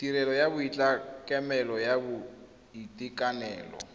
tirelo ya tlamelo ya boitekanelo